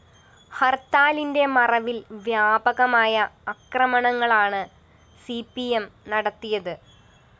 ഹര്‍ത്താലിന്റെ മറവില്‍ വ്യാപകമായ അക്രമണങ്ങളാണ് സി പി എം നടത്തിയത്